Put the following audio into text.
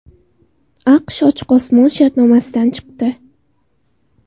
AQSh Ochiq osmon shartnomasidan chiqdi.